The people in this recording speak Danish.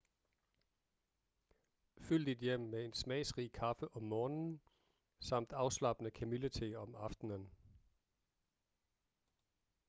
fyld dit hjem med en smagsrig kaffe om morgenen samt afslappende kamillete om aftenen